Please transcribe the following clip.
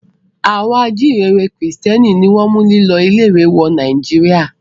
Àwọn ajíǹrere Kìrìtẹ́ẹ́nì ni wọ́n mú lílọ ilé-ìwé wọ inú Nàìjíríà.